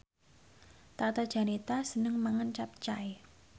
Tata Janeta seneng mangan capcay